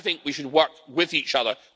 I think we should work with each other.